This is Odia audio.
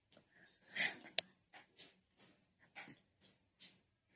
noise